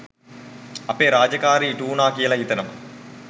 අපේ රාජකාරිය ඉටුවුණා කියල හිතෙනවා.